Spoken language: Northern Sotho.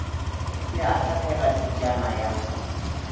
be a hlatlega pitšana ya